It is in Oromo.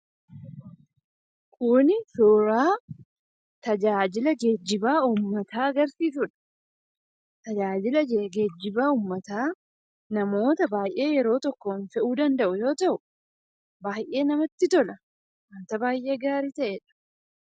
Kuni suuraa tajaajila geejjiba uummataa agarsiisudha. Tajaajila geejjiba uummataa namoota baayyee yeroo tokkoo fe'uu danda'u yoo ta'u, baayyee namatti tola. waanta baayyee gaarii ta'edha.